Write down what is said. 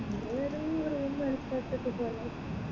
ഏതേങ്ങും room